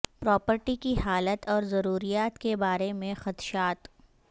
property کی حالت اور ضروریات کے بارے میں خدشات